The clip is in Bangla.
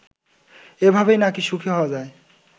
এভাবেই নাকি সুখী হওয়া যায়